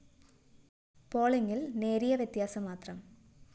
പോളിംഗില്‍ നേരിയ വ്യത്യാസം മാത്രം